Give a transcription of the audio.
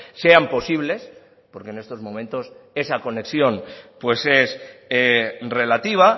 sean posibles porque en estos momentos esa conexión pues es relativa